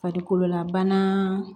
Farikololabana